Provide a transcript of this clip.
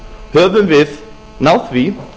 höfum við náð því